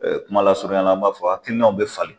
kumalasuruɲɛla an b'a fɔ hakilinaw bɛ falen.